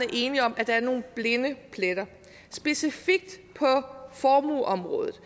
enige om at der er nogen blinde pletter specifikt på formueområdet